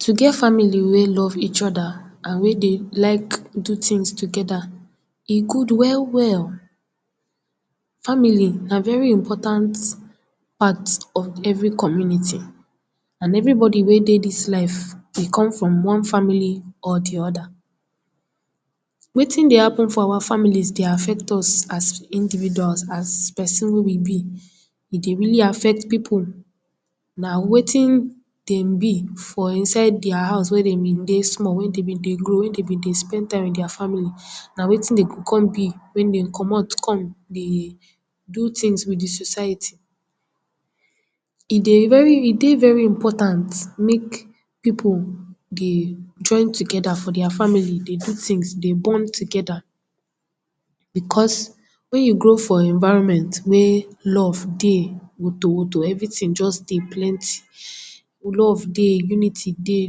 To get family wey love each oda and wey dey like do tins togeda, e good well well. Family na very important part of every community and everybody wey dey dis life dey come from one family or di oda. Wetin dey happen for our families dey affect us as individuals, as person wey we be. E dey really affect pipu, na wetin dem be for inside dia house wey dem be dey small, wey dem be dey grow, wey dem be dey spend time wit dia family, na wetin den kon be wey dem comot come dey do tins wit di society. E dey very, e dey very important, mek pipu dey join togeda for dia family dey do tins dey bond togeda, because wen you grow for environment wey love dey wotowoto, everytin just dey plenty. Love dey, unity dey,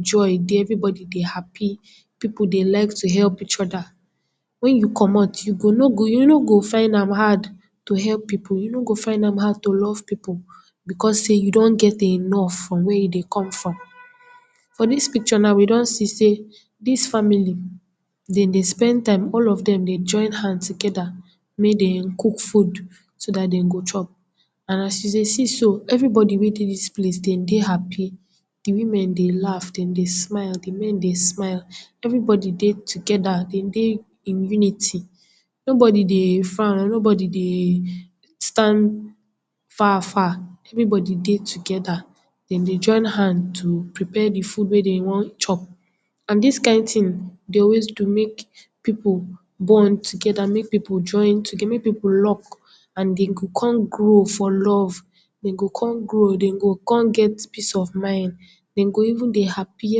joy dey, everybody dey happy, pipu dey like to help each oda, wen you comot, you go no go, you no go find am hard to help pipu, you no go find am hard to love pipu, because sey you don get enough from where you dey come from. For dis picture na, we don see sey dis family, den dey spend time, all of dem dey join hand togeda mey den cook food, so dat den go chop. And as you dey see so, everybody wey dey dis place den dey happy. Di women dey laugh, den dey smile, di men dey smile, everybody dey togeda, den dey in unity. Nobody dey frown, nobody dey stand far far, everybody dey togeda, den dey join hand to prepare di food wey den wan chop. And dis kind tin dey always do mek pipu go on togeda, mek pipu join togeda, mek pipu lock, and den go kon grow for love, den go kon grow, den go kon get peace of mind, den go even dey happy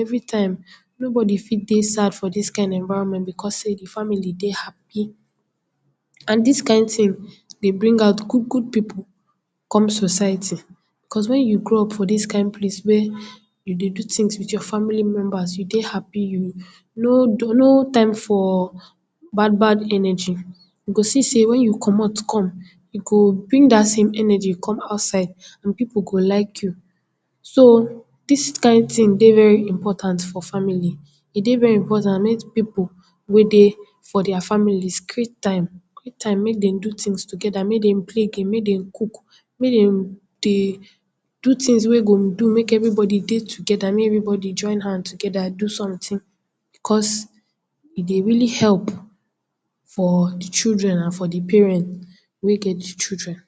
everytime, nobody fit dey sad for dis kind environment, because sey di family dey happy. And dis kind tin dey bring out good good pipu come society. Cos when you grow up for dis kind place where you dey do tins wit your family members, you dey happy, you no do no time for bad bad energy, you go see sey wen you comot come, you go bring dat same energy come outside, pipu go like you. So, dis kind tin dey very important for family, e dey very important mey pipu wey dey for dia families create time, create time mek den do tins togeda, mey den play game, mey den cook, mey den dey do tins wey go do mek everybody dey togeda, mey everybody join hand togeda do sometin, because, e dey go really help for di children and for di parent wey get di children.